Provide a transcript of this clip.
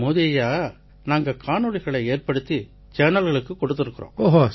மோதி ஐயா நாங்க காணொளிகளை ஏற்படுத்தி சேனல்களுக்கு கொடுத்திருக்கோம்